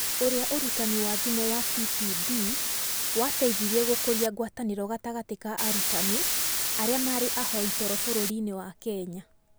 Ũrĩa ũrutani wa thimũ wa TPD wateithirie gũkũria ngwatanĩro gatagatĩ ka arutani arĩa marĩ ahoi toro bũrũriinĩ wa Kenya